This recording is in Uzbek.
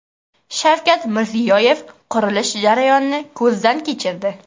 Shavkat Mirziyoyev qurilish jarayonini ko‘zdan kechirdi.